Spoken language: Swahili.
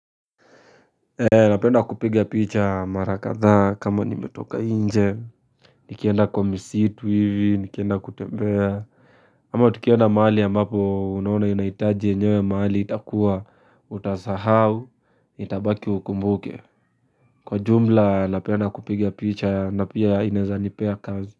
Napenda kupiga picha mara kadhaa kama nimetoka nje Nikienda kwa misitu hivi, nikienda kutembea ama tukienda mahali ambapo unaona inahitaji enyewe mahali itakuwa utasahau Itabaki ukumbuke Kwa jumla napenda kupiga picha na pia ineza nipea kazi.